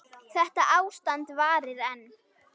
Þetta ástand varir enn.